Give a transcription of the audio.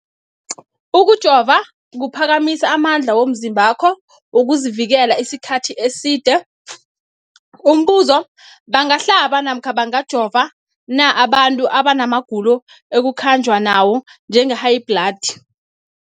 Ukujova kuphakamisa amandla womzimbakho wokuzivikela isikhathi eside. Umbuzo, bangahlaba namkha bangajova na abantu abana magulo ekukhanjwa nawo, njengehayibhladi?